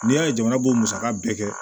N'i y'a ye jamana b'o musaka bɛɛ kɛ